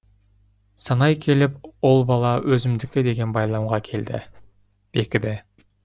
санай келіп ол бала өзімдікі деген байламға бекіді